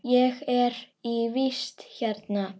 Ég er í vist hérna.